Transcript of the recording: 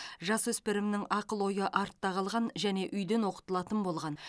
жасөспірімнің ақыл ойы артта қалған және үйден оқытылатын болған